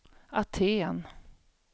Aten